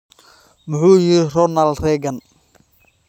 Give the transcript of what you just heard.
Muxuu yiri Ronald Reagan?